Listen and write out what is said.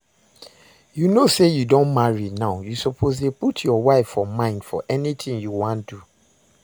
You know say you don marry now, you suppose dey put your wife for mind for anything you wan do